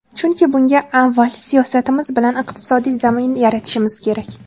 Chunki bunga avval siyosatimiz bilan iqtisodiy zamin yaratishimiz kerak .